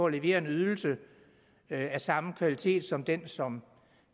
levere en ydelse af samme kvalitet som den som